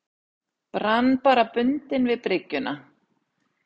Brann bara bundinn við bryggjuna.